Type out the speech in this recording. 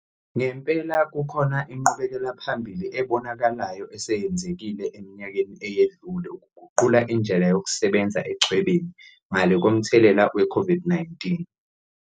Ngempela kukhona inqubekelaphambili ebonakalayo eseyenzekile eminyakeni eyedlule ukuguqula indlela yokusebenza echwebeni, ngale komthelela weCOVID-19.